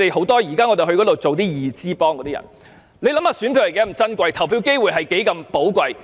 大家想一想，選舉是多麼珍貴？投票機會是多麼寶貴？